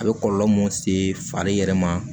A bɛ kɔlɔlɔ mun se fali yɛrɛ ma